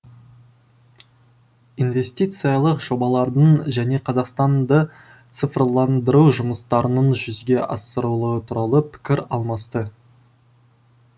инвестициялық жобалардың және қазақстанды цифрландыру жұмыстарының жүзеге асырылу туралы пікір алмасты